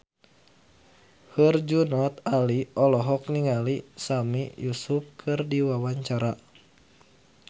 Herjunot Ali olohok ningali Sami Yusuf keur diwawancara